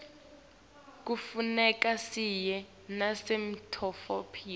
kufuneka siye nasemitfolamphilo